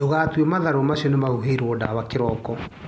Ndũgatue matharũ macio nĩmahuhĩirwo ndawa kĩroko.